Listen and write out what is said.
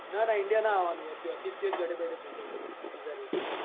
ના ના india ના આવવાનું હોય ત્યોથી જ ત્યો બેઠાં બેઠાં જ થઇ જાય visa renew